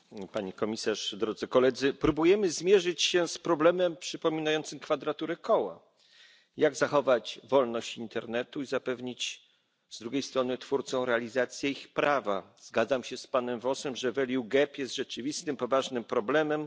Pani Komisarz! Próbujemy zmierzyć się z problemem przypominającym kwadraturę koła. Jak zachować wolność internetu i zapewnić z drugiej strony twórcom realizację ich prawa? Zgadzam się z panem Vossem, że jest rzeczywistym, poważnym problemem.